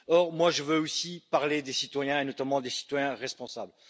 Or, je veux aussi parler des citoyens, et notamment des citoyens responsables.